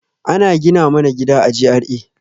Ana gina mana gida a GRA